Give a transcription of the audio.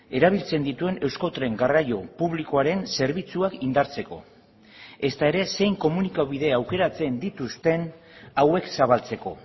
erabiltzen dituen euskotren garraio publikoaren zerbitzuak indartzeko ezta ere zein komunikabide aukeratzen dituzten hauek zabaltzeko